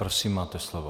Prosím, máte slovo.